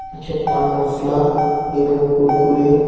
কিছু পান মশলা এবং কুড়কুড়ে --